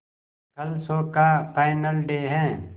कल शो का final day है